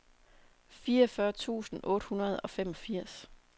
fireogfyrre tusind otte hundrede og femogfirs